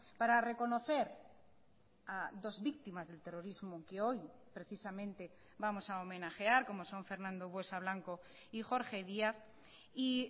para reconocer a dos víctimas del terrorismo que hoy precisamente vamos a homenajear como son fernando buesa blanco y jorge díaz y